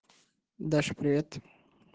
даша привет